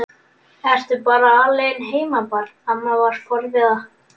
Ertu bara alein heima barn? amma var forviða.